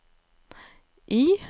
I